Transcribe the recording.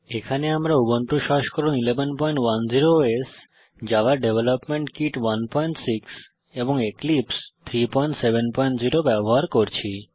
এখানে আমরা উবুন্টু সংস্করণ 1110 ওএস জাভা ডেভেলপমেন্ট কিট 16 এবং এক্লিপসে 370 ব্যবহার করছি